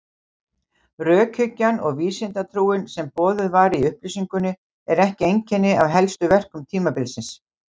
Rökhyggjan og vísindatrúin sem boðuð var í upplýsingunni er ekki einkenni á helstu verkum tímabilsins.